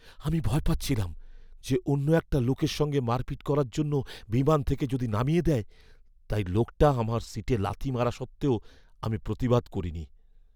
আমি ভয় পাচ্ছিলাম যে অন্য একটা লোকের সঙ্গে মারপিট করার জন্য বিমান থেকে যদি নামিয়ে দেয়, তাই লোকটা আমার সিটে লাথি মারা সত্ত্বেও আমি প্রতিবাদ করিনি।